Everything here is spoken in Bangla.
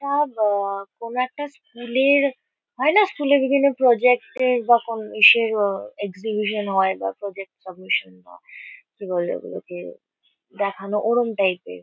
তা বা কোনো একটা স্কুল -এর। হয়না স্কুল -এ বিভিন্ন প্রজেক্ট -এর বা কোন ইসের আ এক্সিবিশন হয় বা প্রজেক্ট সাবমিসন হয়। কি বলে ওগুলোকে দেখানো ওরম টাইপ -এর।